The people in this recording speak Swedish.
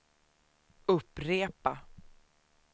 upprepa